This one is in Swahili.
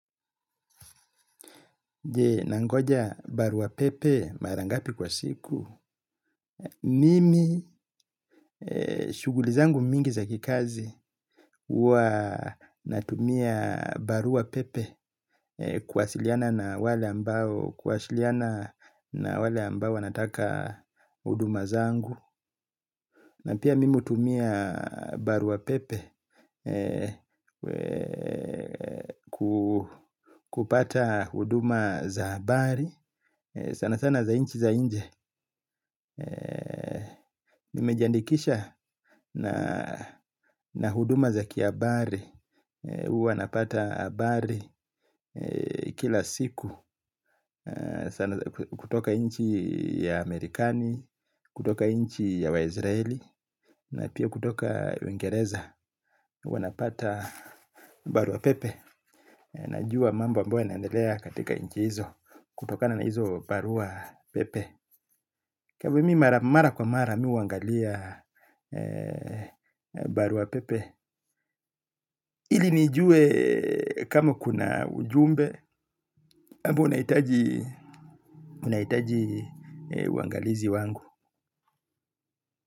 Je, nangoja barua pepe mara ngapi kwa siku. Mimi, shughuli zangu mingi za kikazi, huwa natumia barua pepe kuwasiliana na wale ambao, kuwasiliana na wale ambao wanataka huduma zangu. Na pia mimu hutumia barua pepe kupata huduma za habari, sana sana za nchi za nje nimejiandikisha na huduma za kihabari, huwa napata habari kila siku. Kutoka nchi ya Amerikani, kutoka nchi ya waisraeli na pia kutoka uingereza wanapata barua pepe. Najua mambo ambayo yanaendelea katika nchi hizo. Kutokana na hizo barua pepe kwa hivi mimi mara kwa mara mimi huangalia barua pepe ili nijue kama kuna ujumbe ambao unahitaji uangalizi wangu.